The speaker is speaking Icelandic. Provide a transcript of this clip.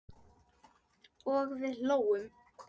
Og við hlógum.